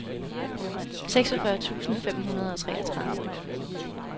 seksogfyrre tusind fem hundrede og treogtredive